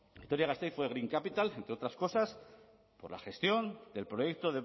vitoria gasteiz fue green capital entre otras cosas por la gestión del proyecto